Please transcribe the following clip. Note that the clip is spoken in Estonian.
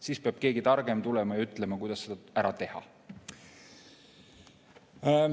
Siis peab keegi targem tulema ja ütlema, kuidas seda ära teha.